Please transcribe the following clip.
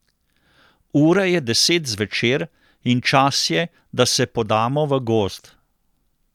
Ura je deset zvečer in čas je, da se podamo v Gozd.